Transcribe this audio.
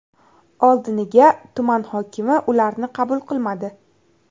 Oldiniga tuman hokimi ularni qabul qilmadi.